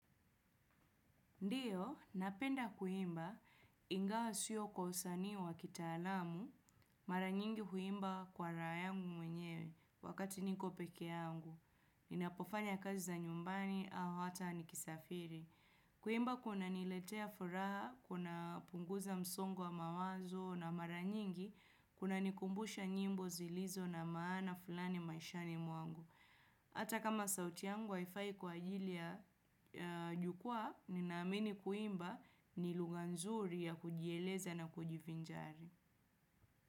Ndiyo, napenda kuimba ingawa sio kwa usanii wa kitaalamu, mara nyingi huimba kwa raha yangu mwenyewe wakati niko peke yangu. Ninapofanya kazi za nyumbani au hata nikisafiri. Kuimba kunaniletea furaha, kunapunguza msongo wa mawazo na mara nyingi, kunanikumbusha nyimbo zilizo na maana fulani maishani mwangu. Hata kama sauti yangu haifai kwa ajili ya jukwaa, ninaamini kuimba ni lugha nzuri ya kujieleza na kujivinjari.